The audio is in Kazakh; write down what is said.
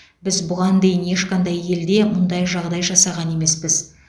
біз бұған дейін ешқандай елде мұндай жағдай жасаған емеспіз